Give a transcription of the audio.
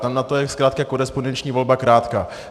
Tam na to je zkrátka korespondenční volba krátká.